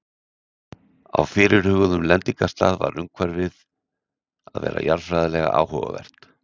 á fyrirhuguðum lendingarstað varð umhverfið að vera jarðfræðilega áhugavert